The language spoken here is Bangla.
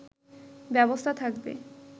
ব্যবস্থা থাকবে